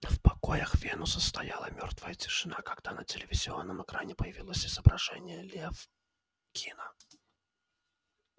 в покоях венуса стояла мёртвая тишина когда на телевизионном экране появилось изображение лефкина